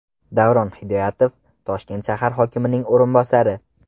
Davron Hidoyatov, Toshkent shahar hokimining o‘rinbosari.